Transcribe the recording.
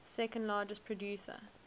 second largest producer